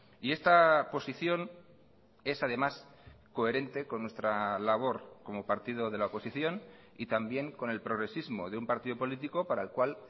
y esta posición es además coherente con nuestra labor como partido de la oposición y también con el progresismo de un partido político para el cual